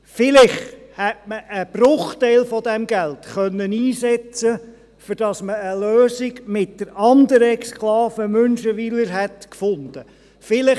Vielleicht hätte man einen Bruchteil dieses Geldes dafür einsetzen können, wenn man eine Lösung mit der anderen Exklave Münchenwiler gefunden hätte.